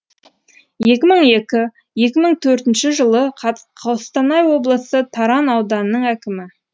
екі мың екі екі мың төртінші жылы қостанай облысы таран ауданының әкімі